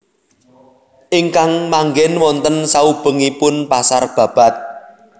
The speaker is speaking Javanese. Ingkang manggèn wonten saubengipun pasar Babat